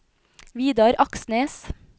Vidar Aksnes